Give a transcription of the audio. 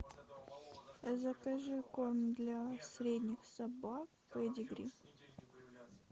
закажи корм для средних собак педигри